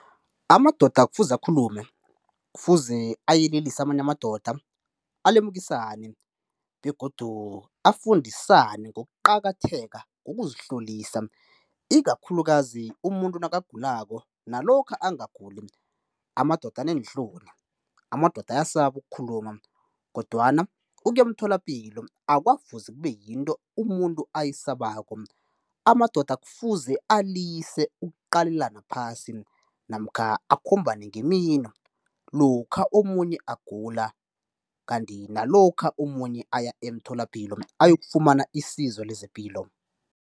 Amadoda kufuze akhulume, kufuze ayelelise amanye amadoda, alemukisane begodu afundisane ngokuqakatheka kokuzihlolisa ikakhulukazi umuntu nakagulako nalokha angaguli. Amadoda aneenhloni, amadoda ayasaba ukukhuluma kodwana ukuya emtholapilo akwafuze kube yinto umuntu ayisabako, amadoda kufuze alise ukuqalelana phasi, namkha akhombane ngemino lokha omunye agula kanti nalokha omunye aya emtholapilo ayokufumana isizo lezepilo.